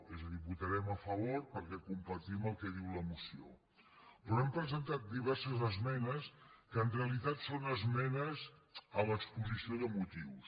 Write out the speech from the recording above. és a dir votarem a favor perquè compartim el que diu la moció però hem presentat diverses esmenes que en realitat són esmenes a l’exposició de motius